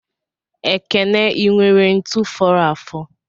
Ekene inwere ntu foro afo?